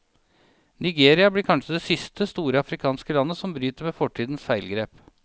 Nigeria blir kanskje det siste, store afrikanske landet som bryter med fortidens feilgrep.